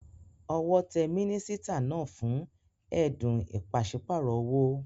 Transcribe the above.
Owó te mínísítà náà fún édùn ìpasípayo owó